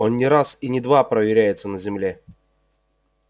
он не раз и не два проверяется на земле